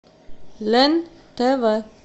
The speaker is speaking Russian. лен тв